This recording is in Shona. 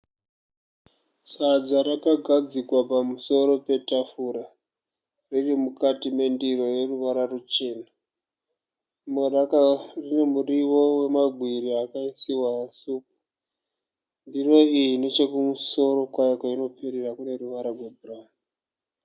Sadza rakagadzikwa pamusoro petafura. Ririmukati mendiro yeruvara ruchena. Rine muriwo wemagwiri akaisiwa supu. Ndiro iyi nechekumusoro kwayo kwainoperera kuneruvara rwebhurawuni.